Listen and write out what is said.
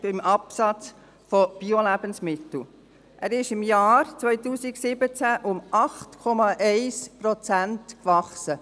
Der Biomarkt ist im Jahr 2017 um 8,1 Prozent gewachsen.